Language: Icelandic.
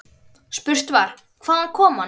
Spurt var: Hvaðan kom hann.